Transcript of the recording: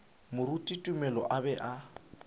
moruti tumelo a be a